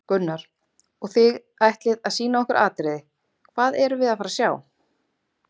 Gunnar: Og þið ætlið að sýna okkur atriði, hvað erum við að fara að sjá?